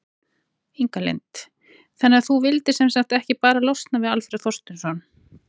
Inga Lind: Þannig að þú vildir sem sagt ekki bara losna við Alfreð Þorsteinsson?